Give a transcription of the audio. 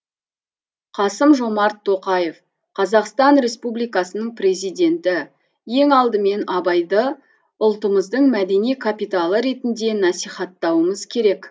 қасым жомарт тоқаев қазақстан республикасының президенті ең алдымен абайды ұлтымыздың мәдени капиталы ретінде насихаттауымыз керек